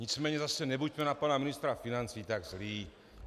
Nicméně zase nebuďme na pana ministra financí tak zlí.